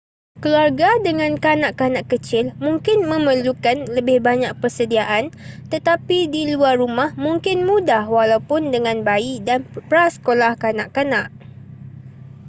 keluarga dengan kanak-kanak kecil mungkin memerlukan lebih banyak persediaan tetapi di luar rumah mungkin mudah walaupun dengan bayi dan prasekolah kanak-kanak